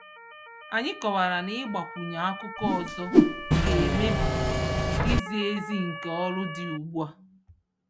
Anyị kọwara na ịgbakwunye akụkọ ọzọ ga-emebi izi ezi nke ọrụ dị ugbu a.